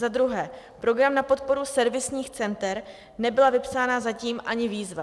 Za druhé, program na podporu servisních center, nebyla vypsána zatím ani výzva.